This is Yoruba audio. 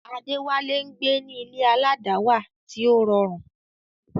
Adewale ń gbé ní ilé aládàáwà tí ó rọrùn.